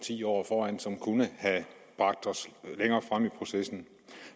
ti år som kunne have bragt os længere frem i processen